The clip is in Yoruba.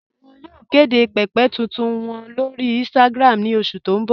Wọn yóò kede pẹ̀pẹ̀ tuntun wọn lórí Instagram ní oṣù tí n bọ̀